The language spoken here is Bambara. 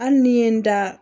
Hali ni n ye n da